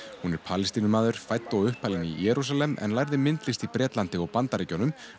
hún er Palestínumaður fædd og uppalinn í Jerúsalem en lærði myndlist í Bretlandi og Bandaríkjunum